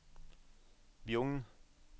Bjugn